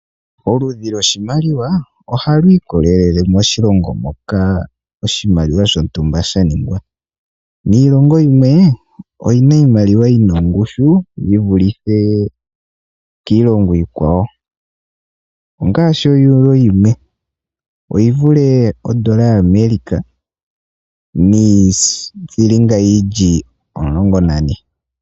Oludhi lwoshimaliwa ohali ikolele moshilongo moka oshimaliwa shontumba sha ningwa . Iilongo yimwe oyina iimaliwa yina ongushu yivulithe kiilongo iikwawo ,ongaashi o Euro yimwe oyivule odola ya America niithilinga yili omulongo nane.